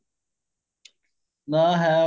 ਨਾ ਹੈ